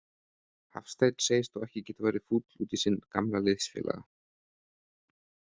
Hafsteinn segist þó ekki getað verið fúll út í sinn gamla liðsfélaga.